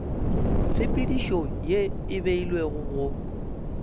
tshepedišo ye e beilwego go